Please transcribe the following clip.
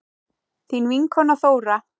Þín vinkona Þóra.